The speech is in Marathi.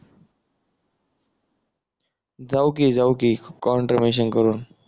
जाऊ कि जाऊ कि काँट्रीब्युशन करून